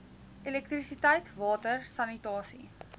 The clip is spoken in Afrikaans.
elektrisiteit water sanitasie